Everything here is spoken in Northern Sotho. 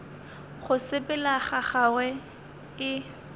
go sepela ga gagwe e